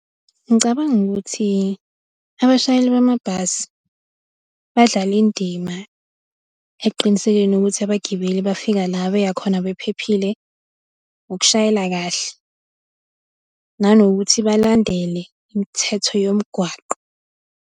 Ngicabanga ukuthi abashayeli bamabhasi, badlala indima ekuqinisekeni ukuthi abagibeli bafika la beyakhona bephephile, ukushayela kahle nanokuthi balandele imithetho yomgwaqo.